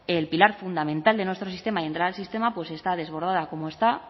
el pilar fundamental de nuestro sistema y entrada al sistema está desbordada como está